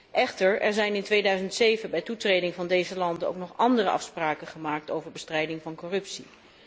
Er zijn echter in 2007 bij de toetreding van deze landen ook nog andere afspraken gemaakt, over bestrijding van corruptie.